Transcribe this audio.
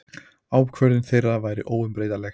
Ákvörðun þeirra væri óumbreytanleg.